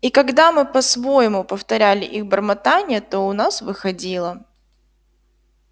и когда мы по-своему повторяли их бормотанье то у нас выходило